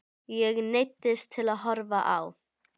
Ég neyddist til að horfa á.